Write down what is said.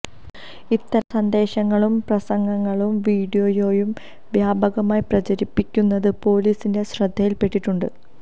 ഇത്തരം സന്ദേശങ്ങളും പ്രസംഗങ്ങളും വീഡിയോയും വ്യാപകമായി പ്രചരിപ്പിക്കുന്നത് പോലിസിന്റെ ശ്രദ്ധയില് പെട്ടിട്ടുണ്ട്